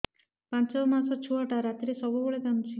ପାଞ୍ଚ ମାସ ଛୁଆଟା ରାତିରେ ସବୁବେଳେ କାନ୍ଦୁଚି